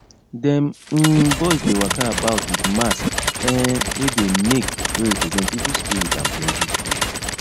dem um boys dey waka about with mask um wey dem make wey represent evil spirit and plenty food